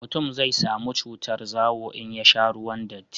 mutum zai samu cutar zawo in ya sha ruwan datti